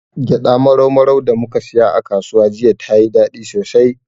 Gyaɗa marau maran da muka siya a kasuwa jiya, tayi daɗi sosai.